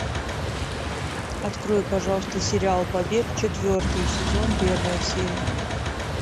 открой пожалуйста сериал побег четвертый сезон первая серия